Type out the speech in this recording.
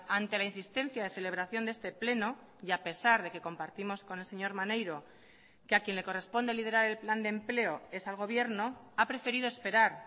ante la insistencia de celebración de este pleno y a pesar de que compartimos con el señor maneiro que a quien le corresponde liderar el plan de empleo es al gobierno ha preferido esperar